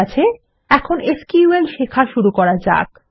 ঠিক আছে এখন এসকিউএল শেখা শুরু করা যাক